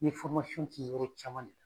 N ye kɛ yɔrɔ caman de.